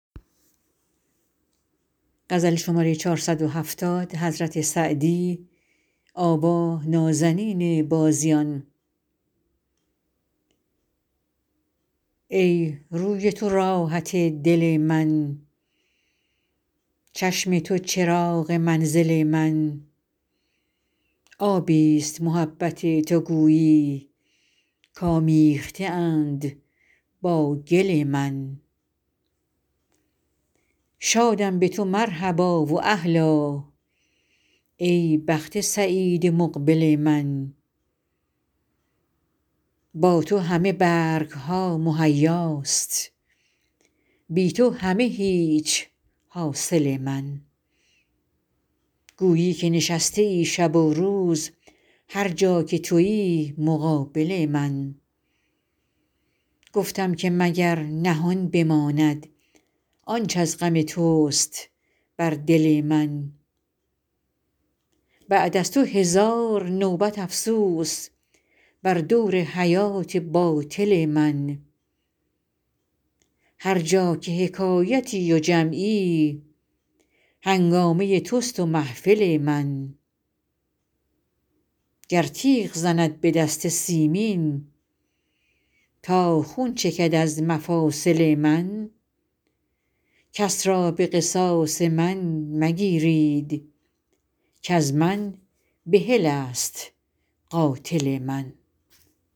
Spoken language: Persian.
ای روی تو راحت دل من چشم تو چراغ منزل من آبی ست محبت تو گویی کآمیخته اند با گل من شادم به تو مرحبا و اهلا ای بخت سعید مقبل من با تو همه برگ ها مهیاست بی تو همه هیچ حاصل من گویی که نشسته ای شب و روز هر جا که تویی مقابل من گفتم که مگر نهان بماند آنچ از غم توست بر دل من بعد از تو هزار نوبت افسوس بر دور حیات باطل من هر جا که حکایتی و جمعی هنگامه توست و محفل من گر تیغ زند به دست سیمین تا خون چکد از مفاصل من کس را به قصاص من مگیرید کز من بحل است قاتل من